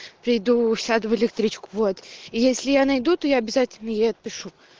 приду сяду в электричку вот и если я найду то я обязательно ей отпишу